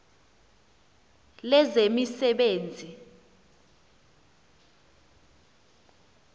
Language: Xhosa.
lezemisebenzi